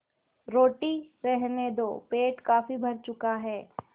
रोटी रहने दो पेट काफी भर चुका है